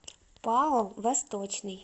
пао восточный